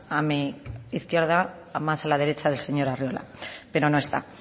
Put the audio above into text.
a mi izquierda más a la derecha del señor arriola pero no está